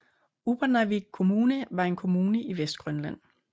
Upernavik Kommune var en kommune i Vestgrønland